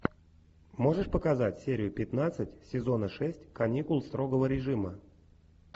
можешь показать серию пятнадцать сезона шесть каникулы строгого режима